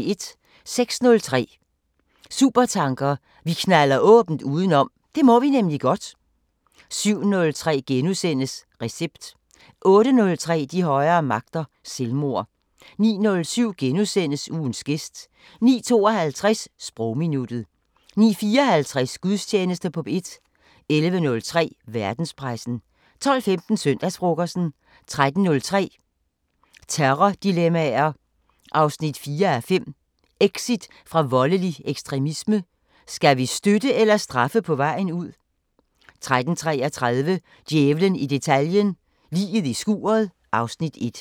06:03: Supertanker: Vi knalder åbent udenom – det må vi nemlig godt 07:03: Recept * 08:03: De højere magter: Selvmord 09:07: Ugens gæst * 09:52: Sprogminuttet 09:54: Gudstjeneste på P1 11:03: Verdenspressen 12:15: Søndagsfrokosten 13:03: Terrordilemmaer 4:5 – Exit fra voldelig ekstremisme: Skal vi støtte eller straffe på vejen ud? 13:33: Djævlen i detaljen – Liget i skuret (Afs. 1)